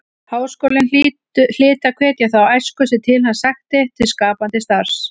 Háskólinn hlyti að hvetja þá æsku sem til hans sækti til skapandi starfs.